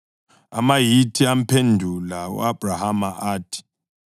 AmaHithi amphendula u-Abhrahama athi,